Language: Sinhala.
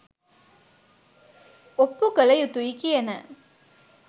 ඔප්පු කල යුතුයි කියන